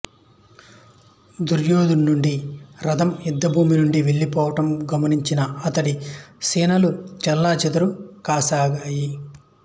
దుర్యోధనుడి రథం యుద్ధభూమి నుండి వెళ్ళిపోవడం గమనించిన అతడి సేనలు చెల్లాచెదురు కాసాగాయి